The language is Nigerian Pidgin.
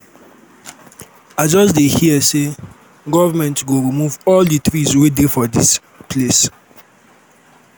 i just dey hear say government go remove all the trees wey dey for dis place